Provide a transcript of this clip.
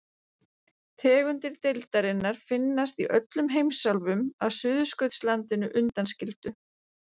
Tegundir deildarinnar finnast í öllum heimsálfum að Suðurskautslandinu undanskildu.